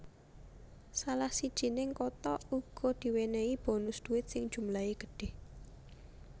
Salah sijining kota uga diwènèhi bonus duit sing jumlahé gedhe